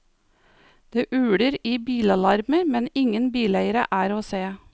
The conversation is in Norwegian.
Det uler i bilalarmer, men ingen bileiere er å se.